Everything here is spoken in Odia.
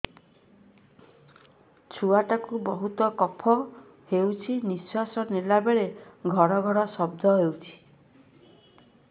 ଛୁଆ ଟା କୁ ବହୁତ କଫ ହୋଇଛି ନିଶ୍ୱାସ ନେଲା ବେଳେ ଘଡ ଘଡ ଶବ୍ଦ ହଉଛି